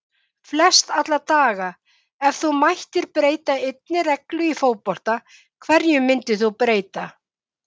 Flest alla daga Ef þú mættir breyta einni reglu í fótbolta, hverju myndir þú breyta?